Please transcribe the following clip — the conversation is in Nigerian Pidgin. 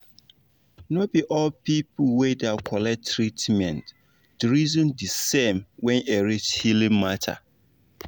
no be all people wey da collect treatment da reason de same when e reach healing matter